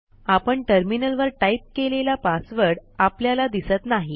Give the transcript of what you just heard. आपण टर्मिनलवर टाईप केलेला पासवर्ड आपल्याला दिसत नाही